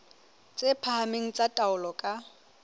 tse phahameng tsa taolo ka